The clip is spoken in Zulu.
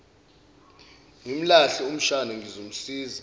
ngimlahle umshana ngizomsiza